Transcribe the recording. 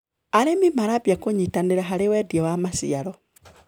Arĩmi marambia kũnyitanĩra harĩ wendia wa maciaro.